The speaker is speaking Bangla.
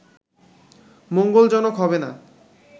মঙ্গলজনক হবেনা”